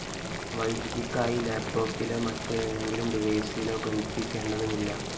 വൈദ്യുതിക്കായി ലാപ്‌ടോപ്പിലോ മറ്റേതെങ്കിലും ഡിവൈസിലോ ബന്ധിപ്പിക്കേണ്ടതുമില്ല